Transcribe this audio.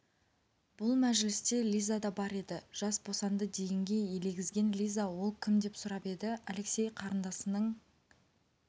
бұл мәжілісте лиза да бар еді жас босанды дегенге елегізген лиза ол кім деп сұрап еді алексей қарындасының